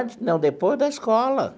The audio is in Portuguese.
Não, depois da escola.